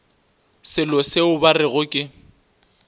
selo se ba rego ke